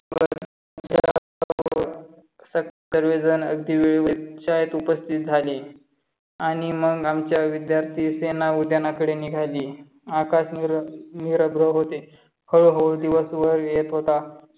सर्वजण अगदी वेळेवर शाळेत उपस्थित झाले. आणि मग आमची विद्यार्थी सेना उद्यानाकडे निघाली. आकाश निरभ्र होते. हळूहळू दिवस वर येत होता.